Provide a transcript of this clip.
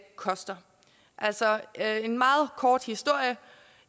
koster altså her er en meget kort historie